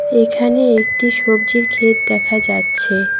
এইখানে একটি সবজির ক্ষেত দেখা যাচ্ছে।